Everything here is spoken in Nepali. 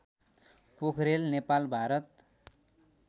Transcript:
पोखरेल नेपाल भारत